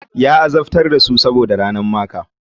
Ya azabtar da su saboda ranar maker.